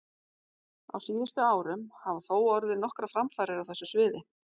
Á síðustu árum hafa þó orðið nokkrar framfarir á þessu sviði.